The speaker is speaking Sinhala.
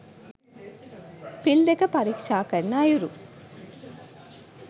පිල් දෙක පරීක්‍ෂා කරන අයුරු